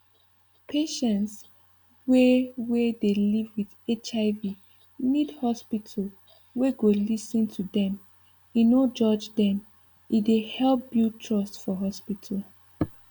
patients wey wey dey live with hiv need hospital we go lis ten to dem e no judge dem e dey help build trust for hospital